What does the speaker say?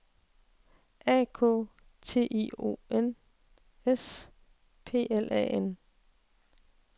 A K T I O N S P L A N